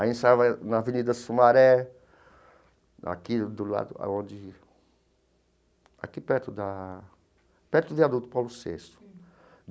A gente ensaiava na Avenida Sumaré, aqui do lado, onde... Aqui perto da... Perto do viaduto Paulo Sexto.